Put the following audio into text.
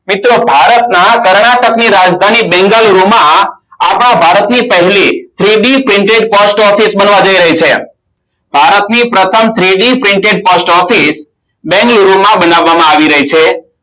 મિત્રો ભારતના આપણા ભારતની પહેલી three D painting Post Office બનવા જય રહી છે ભારતની પ્રથમ three D painting Post Office બેંગ્લોરમાં બનાવામાં આવી રહી છે